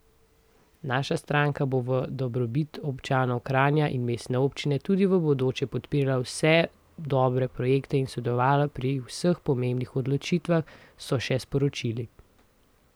Naša stranka bo v dobrobit občanov Kranja in mestne občine tudi v bodoče podpirala vse dobre projekte in sodelovala pri vseh pomembnih odločitvah, so še sporočili.